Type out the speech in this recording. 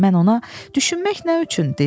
Mən ona düşünmək nə üçün deyirdim?